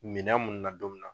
Minɛn mun na don min na